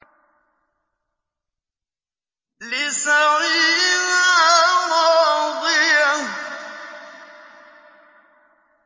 لِّسَعْيِهَا رَاضِيَةٌ